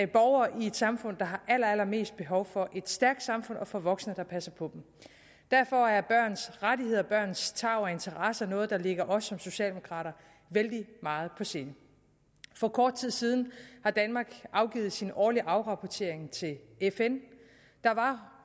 borgere i et samfund der har allerallermest behov for et stærkt samfund og for voksne der passer på dem derfor er børns rettigheder og børns tarv og interesser noget der ligger os socialdemokrater vældig meget på sinde for kort tid siden har danmark afgivet sin årlige afrapportering til fn der var